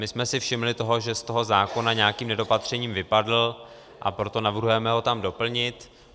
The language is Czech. My jsme si všimli toho, že z toho zákona nějakým nedopatřením vypadl, a proto navrhujeme ho tam doplnit.